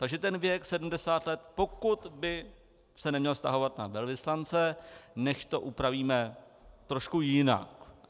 Takže ten věk 70 let, pokud by se neměl vztahovat na velvyslance, nechť to upravíme trochu jinak.